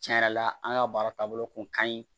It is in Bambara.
Tiɲɛ yɛrɛ la an ka baara taabolo kun kaɲi